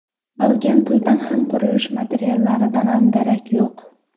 Qolgan puldan ham, qurilish materiallaridan ham darak yo‘q.